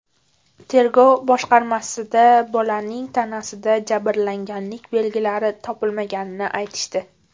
Tergov boshqarmasida bolaning tanasida jabrlanganlik belgilari topilmaganini aytishdi.